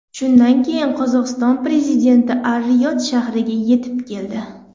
Shundan keyin Qozog‘iston prezidenti Ar-Riyod shahriga yetib keldi.